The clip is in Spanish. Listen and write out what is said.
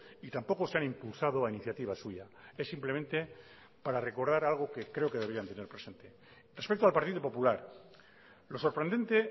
y tampoco se han impulsado a iniciativa suya es simplemente para recordar algo que creo que deberían tener presente respecto al partido popular lo sorprendente